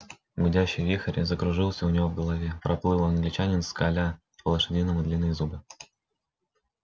гудящий вихрь закружился у него в голове проплыл англичанин скаля по-лошадиному длинные зубы